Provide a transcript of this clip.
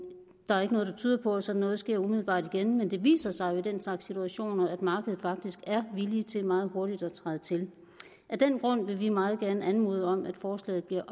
er ikke noget der tyder på at sådan noget sker umiddelbart igen men det viser sig jo i den slags situationer at markedet faktisk er villig til meget hurtigt at træde til af den grund vil vi meget gerne anmode om at forslaget bliver